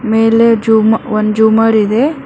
ಮೇಲೆ ಜೂಮ್ ಒಂದು ಜೂಮರ್ ಇದೆ.